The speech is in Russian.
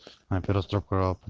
операция